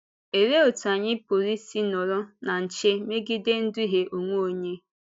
Òlee otú anyị pụrụ isi nọrị na nche megide ịdùhie onwe onye?